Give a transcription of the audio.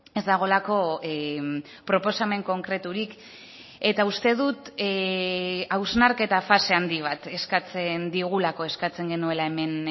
ez dagoelako proposamen konkreturik eta uste dut hausnarketa fase handi bat eskatzen digulako eskatzen genuela hemen